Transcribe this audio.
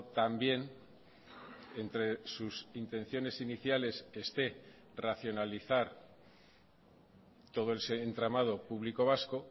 también entre sus intenciones iniciales esté racionalizar todo el entramado público vasco